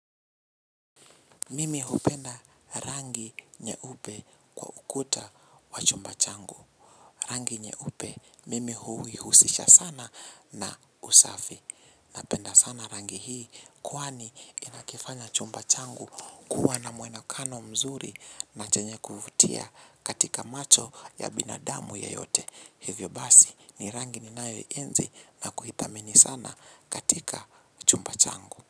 Mimi hupenda rangi nyeupe kwa ukuta wa chumba changu. Rangi nyeupe mimi huihusisha sana na usafi. Napenda sana rangi hii kwani inakifanya chumba changu kuwa na mwonekano mzuri na chenye kuvutia katika macho ya binadamu yeyote. Hivyo basi ni rangi ninayoienzi na kuithamini sana katika chumba changu.